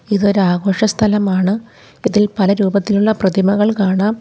ഇതൊരു ആഘോഷ സ്ഥലമാണ് ഇതിൽ പല രൂപത്തിലുള്ള പ്രതിമകൾ കാണാം.